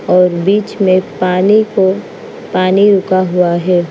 और बीच में पानी को पानी रुका हुआ है।